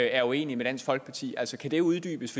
er uenige med dansk folkeparti altså kan det uddybes